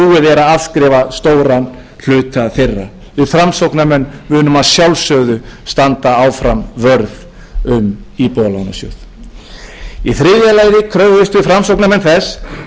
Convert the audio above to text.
er að afskrifa stóran hluta þeirra við framsóknarmenn munum að sjálfsögðu standa áfram vörð um íbúðalánasjóð í þriðja lagi kröfðumst við framsóknarmenn þess að þjóðin gengi til